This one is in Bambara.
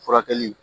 Furakɛli